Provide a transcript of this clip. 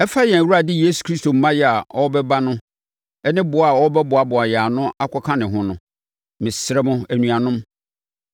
Ɛfa yɛn Awurade Yesu Kristo mmaeɛ a ɔrebɛba ne boa a wɔbɛboaboa yɛn ano akɔka ne ho no, mesrɛ mo, anuanom,